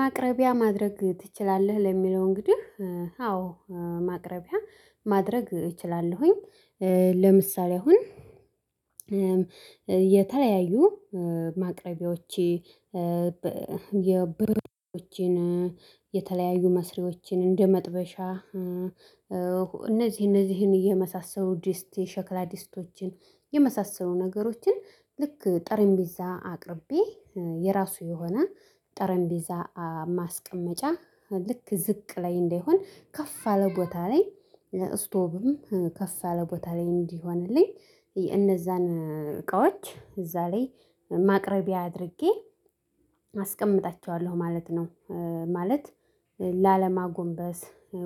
ማቅረቢያ ማድረግ ትችላለህ ለሚለው እንግዲህ አዎ ማቅረቢያ ማድረግ እችላለሁኝ። ለምሳሌ አሁን የተለያዩ ማቅረቢያዎቼ የብረት ድስቶችን የተለያዩ መስሪዎችን እንደመጥበሻ እነዚህ እነዚህን እየመሳሰሉ ዲስት የሸክላ ዲስቶችን የመሳሰሉ ነገሮችን ልክ ጠረንጴዛ አቅርቤ የራሱ የሆነ ጠረንጴዛ ማስቀመጫ ልክ ዝቅ ላይ እንደሆን ከፍ አለ ቦታ ላይ ስቶቭም ከፍ አለ ቦታ ላይ እንዲሆንልኝ እነዛን እቃዎች እዛ ላይ ማቅረቢያ አድርጌ አስቀምጣቸዋለሁ ማለት ነው። ማለት ላለማጎንበስ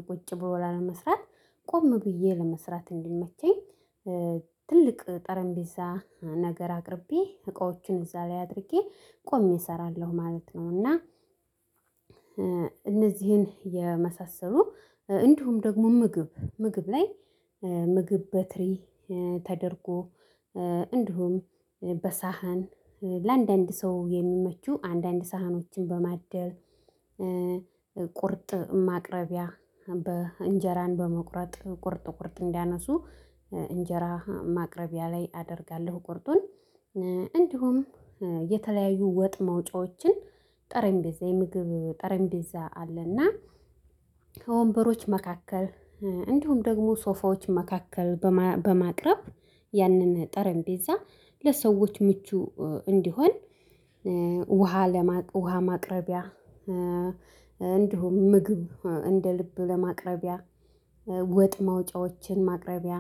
ቁጭ ብሎ ለመስራት ቆም ብዬ ለመስራት እንዲመቸኝ ትልቅ ጠረንጴዛ ነገር አቅርቤ እቃዎችን እዛ ላይ አድርጌ ቆሜ እሰራለሁ ማለት ነው። እና እነዚህን የመሳሰሉ እንዲሁም ደግሞ ምግብ ምግብ ላይ ምግብ በትሪ ተደርጎ እንዲሁም በሳህን ለአንዳንድ ሰው የሚመቹ አንዳንድ ሳህኖችን በማደል ቁርጥ ማቅረቢያ በእንጀራን በመቁረጥ ቁርጥ ቁርጥ እንዲያነሱ እንጀራ ማቅረቢያ ላይ አደርጋለሁ። ቁርጡን እንዲሁም የተለያዩ ወጥ መውጫዎችን ጠረንጴዛ የምግብ ጠረንጴዛ አለና ከወንበሮች መካከል እንዲሁም ደግሞ ሶፋዎች መካከል በማቅረብ ያንን ጠረንጴዛ ለሰዎች ምቹ እንዲሆን። ውሃ ለማ ውሃ ማቅረቢያ እንደውም ምግብ እንደ ልብ ለማቅረቢያ ወጥ ማውጫዎችን ማቅረቢያ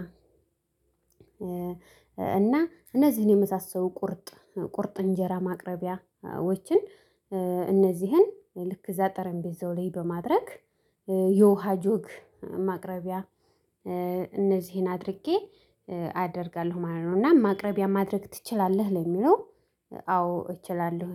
እና እነዚህን የመሳሰሉ ቁርጥ ቁርጥ እንጀራ ማቅረቢያዎችን እነዚህን ልክ እዛ ጠረምጴዛው ላይ በማድረግ የውሃ ጆግ ማቅረቢያ እነዚህን አድርጌ አደርጋለሁ ማለት ነው። እና ማቅረቢያ ማድረግ ትችላለህ ለሚለው አዎ እችላለሁ